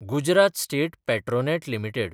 Gujarat state Petronet limited